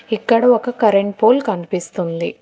ఇక్కడ ఒక current pole కనిపిస్తుంది.